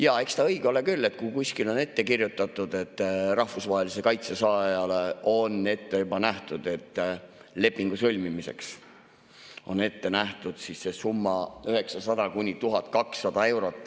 Jaa, eks ta õige ole küll, et kui kuskil on ette kirjutatud, et rahvusvahelise kaitse saajale on lepingu sõlmimiseks ette nähtud see summa, 900–1200 eurot.